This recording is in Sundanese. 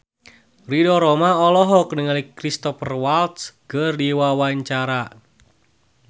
Ridho Roma olohok ningali Cristhoper Waltz keur diwawancara